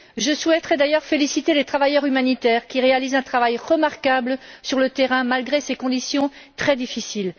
Je souhaiterais d'ailleurs féliciter les travailleurs humanitaires qui réalisent un travail remarquable sur le terrain, malgré les conditions très difficiles.